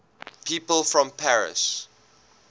people from paris